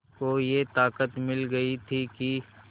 को ये ताक़त मिल गई थी कि